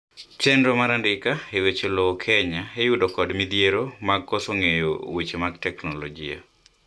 chienro mar andika e weche lowo Kenya iyudo kod midhiero mag koso ng'eyo weche mag teknolojia